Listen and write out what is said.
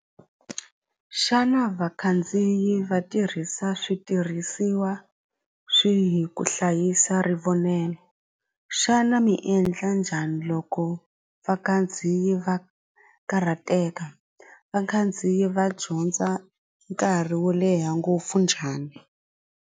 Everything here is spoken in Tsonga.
Xana vakhandziyi va tirhisa switirhisiwa swihi ku hlayisa ri vonelo xana mi endla njhani loko vakhandziyi va karhateka vakhandziyi va dyondza nkarhi wo leha ngopfu njhani.